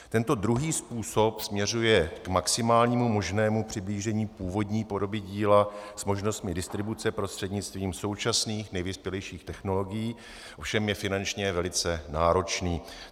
Tento druhý způsob směřuje k maximálnímu možnému přiblížení původní podoby díla s možnostmi distribuce prostřednictvím současných nejvyspělejších technologií, ovšem je finančně velice náročný.